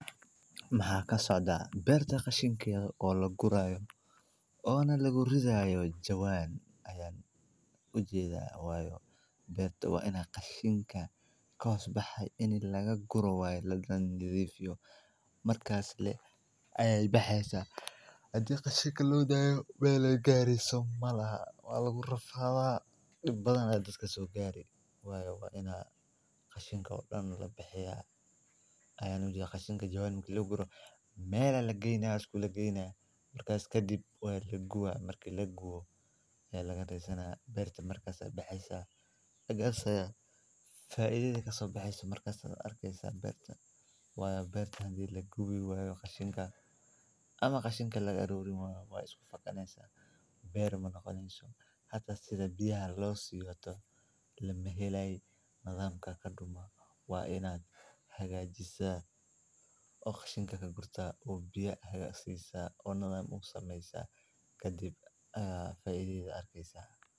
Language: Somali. beerta Kashinka oo la gurayo oo na lagu ridaayo jawaan. Ayaan u jeedaa. Way bearta waa in ka qashinka kaas baxay in lagaga guurawaa la dhan yidiifyo. Markaas le ayay baxeesa. Hadii ka shiki loo daayo weeyley gaari soomaalaha waana la ula rafaa dhib badan adagka soo gaari. Way wa inaa kaashinka odhan la baxayaa? Ayaanu jeedaa qashinka jawaan lagugu gurayo. Meelo la gaynaa isku laga gaynaa markaas ka dib way la guurro. Markii la guuro ay laga dhiir saaray beerta markaas baxeesa. Agar sayo faa'iideyda ka soo baxayso markasta arkaysa beerta. Way beerta handii lagu guuri way qashinka ama qashinka laga dhow rimo. Way isku faqanaysaa beer noqonayaan soo hadda sida biyo hadloo si yooto la meheelay. Nidaamka ka dhuma waa inaad hagaajisa oo qashinka ka gurta u biya hagaag siisa oo nidaam u samaysa ka dib. Ah faa'iideyda arkaysa.